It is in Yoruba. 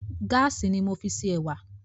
Gáàsì ni mo fi ṣe ẹ̀wà